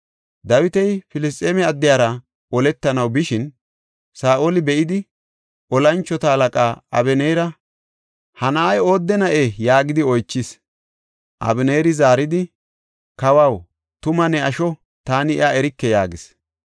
Dawiti Filisxeeme addiyara oletanaw bishin, Saa7oli be7idi, tora mocona Abeneera, “Ha na7ay oodde na7ee?” yaagidi oychis. Abeneeri zaaridi, “Kawaw, tuma ne asho taani iya erike” yaagis.